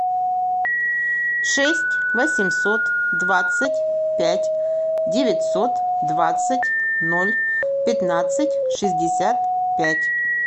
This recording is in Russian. шесть восемьсот двадцать пять девятьсот двадцать ноль пятнадцать шестьдесят пять